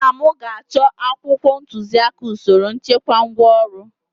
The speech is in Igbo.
nna m ga-achọ akwụkwọ ntuziaka usoro nchekwa ngwaọrụ